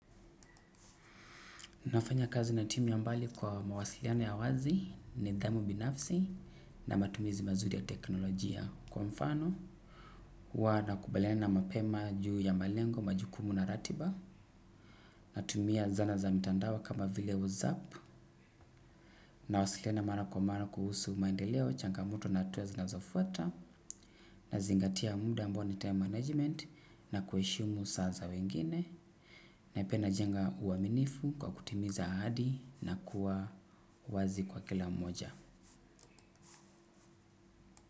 Nafanya kazi na timu ya mbali kwa mawasiliano ya wazi nidhamu binafsi na matumizi mazuri ya teknolojia kwa mfano. Huwa nakubaliqna mapema juu ya malengo majukumu na ratiba natumia zana za mitandao kama vile whatsap nawasiliana mara kwa mara kuhusu maendeleo changamoto na hatua zinazofuata nazingatia muda ambao ni time management na kueshimu saa za wengine. Na piq inajenga uaminifu kwa kutimiza ahadi na kuwa wazi kwa kila mmoja.